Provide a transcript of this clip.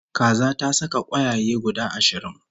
Kaza ta saka kwayaye guda ashirin